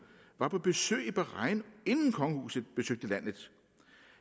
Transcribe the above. var på besøg i bahrain inden kongehuset besøgte landet